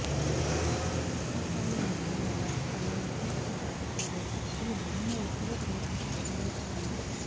hot oil massage వల్ల తలలో రక్త ప్రసరణ బాగా జరిగా కురులు బలంగా ఒత్తుగా పెరగడానికి సహాయపడుతాయి